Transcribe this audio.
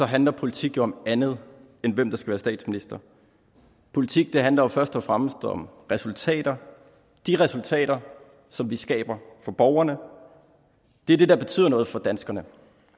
handler politik jo om andet end hvem der skal være statsminister politik handler først og fremmest om resultater de resultater som vi skaber for borgerne det er det der betyder noget for danskerne